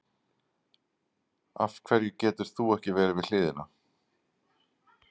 Af hverju getur þú ekki verið við hliðina?